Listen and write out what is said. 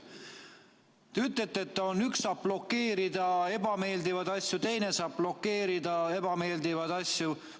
Te ütlete, et üks saab blokeerida ebameeldivaid asju ja teine saab blokeerida ebameeldivaid asju.